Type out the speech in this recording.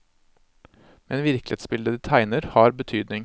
Men virkelighetsbildet de tegner har betydning.